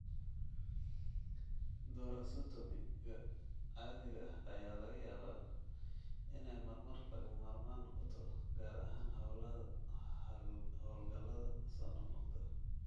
thoracotomy-ga caadiga ah ayaa laga yaabaa inay marmar lagama maarmaan noqoto, gaar ahaan hawlgallada soo noqnoqda.